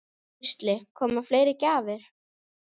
Gísli: Koma fleiri gjafir?